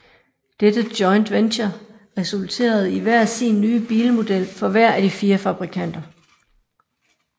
Dette joint venture resulterede i hver sin nye bilmodel for hver af de fire fabrikanter